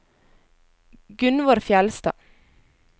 Gunnvor Fjeldstad